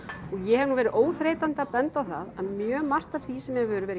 og ég hef nú verið óþreytandi að benda á það að mjög margt af því sem hefur verið